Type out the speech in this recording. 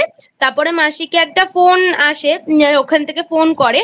তারপরে মাসিকে একটা Phone আসে ওখান থেকে Phone করে